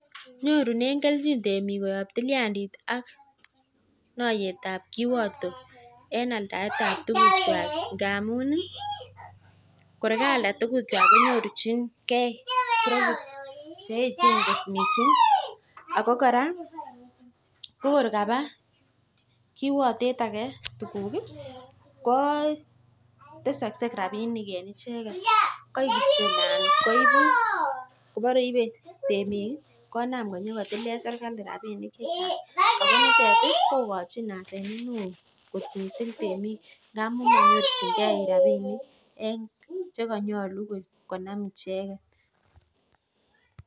Nyorunee keljin temik amuu kwalda tuguk kwak konyorjin kee tuguk chemachinkei ako koraa ko kabaa kirwatee akee tuguk ko tesagsei rabishek kandas tilee sirkali rabishek icheket